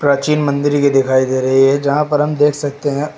प्राचीन मंदिर के दिखाई दे रही है यहां पर हम देख सकते हैं।